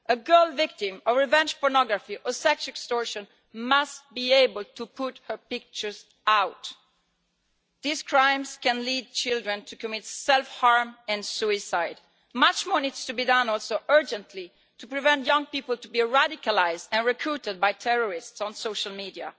A girl victim of revenge pornography or sex extortion must be able to have her pictures taken down. These crimes can lead children to commit self harm and suicide. Much more also needs to be done urgently to prevent young people from being radicalised and recruited by terrorists on social media.